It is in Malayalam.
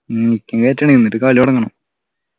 ഉം നിക്കും കേറ്റണെ എന്നിട്ട് കളി തുടങ്ങണം